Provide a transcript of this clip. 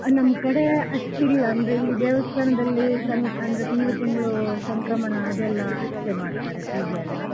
ನಮ್ಕಡೆ ಅಷ್ಟಿಲ್ಲ ಅಂದ್ರೆ ಇಲ್ಲಿ ದೇವಸ್ಥಾನದಲ್ಲಿ ಅಂದ್ರೆ ತಿಂಗ್ಳು ತಿಂಗ್ಳು ಸಂಕ್ರಮಣ ಅದೆಲ್ಲಾ ಅಷ್ಟೇ ಮಾಡ್ತಾರೆ ಪೂಜೆಯೆಲ್ಲ